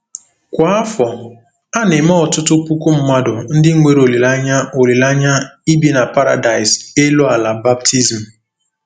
Kwa afọ, a na-eme ọtụtụ puku mmadụ ndị nwere olileanya olileanya ibi na paradaịs elu ala baptizim.